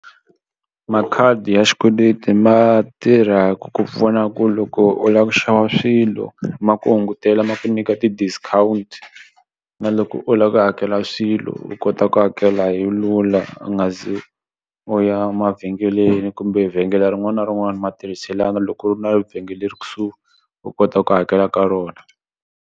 Makhadi ya xikweleti ma tirha ku ku pfuna ku loko u la ku xava swilo ma ku hungutela ma ku nyika ti-discount na loko u la ku hakela swilo loko u kota ku hakela hi lula u nga ze u ya mavhengeleni kumbe vhengele rin'wani na rin'wani ma tirhiselana loko u ri na vhengele ri kusuhi u kota ku hakela ka rona.